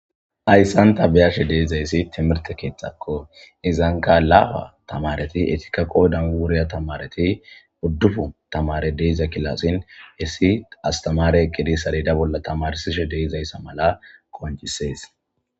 Hayssan tabiyashe deizayssi timirte keexxakko izanka laaa tamareti etikaqo danuriya tamareti buddufu tamare deiza kilassin issi astamare aqidi sarida bolla tamarsishe deizayssa mala konjisees.